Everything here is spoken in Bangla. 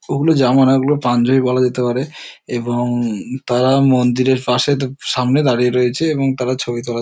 ওই গুলো জামা নয় ওই গুলো পাঞ্জাবি বলা যেতে পারে এবং তারা মন্দিরের পাশে ত সামনে দাঁড়িয়ে রয়েছে এবং তারা ছবি তোলা--